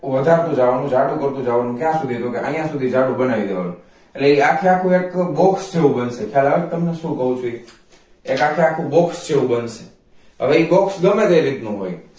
વધારતું જવાનું જાડું કરતુ જવા નું તો કે ક્યાં સુધી તો કે આયા સુધી જાડું ગણાવી દેવાનું એટલે એ આખે આખું એક box જેવું બનશે ખ્યાલ આવે છે તમને શું કવ છુ એક આખે આખું box જેવું હવે એ box ગમે એ રીત નો હોય